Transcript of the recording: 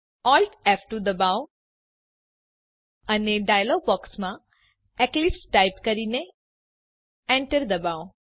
Alt ફ2 દબાવો અને ડાયલોગ બોક્સમાં એક્લિપ્સ ટાઈપ કરીને એન્ટર દબાવો